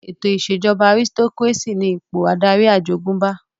Ètò ìṣèjọba àrisitokírésì ní ipò adarí àjogúnbá